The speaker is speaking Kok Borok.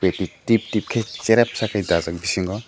tip tip tikei cherep sa kei bisingo.